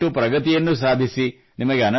ಬಹಳಷ್ಟು ಪ್ರಗತಿಯನ್ನು ಸಾಧಿಸಿ